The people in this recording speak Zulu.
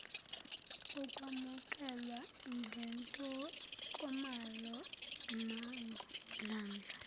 ukwamukelwa ngentokomalo nangomdlandla